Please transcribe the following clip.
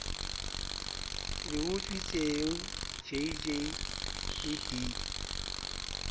le utswitsweng jj le b